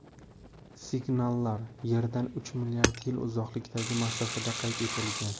Signallar Yerdan uch milliard yil uzoqlikdagi masofada qayd etilgan.